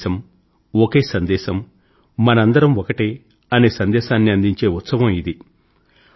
ఒకే దేశం ఒకే సందేశం మనందరము ఒకటే అనే సందేశాన్ని అందించే ఉత్సవం ఇది